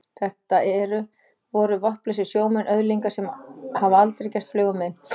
Þetta eru. voru vopnlausir sjómenn, öðlingar sem hafa aldrei gert flugu mein.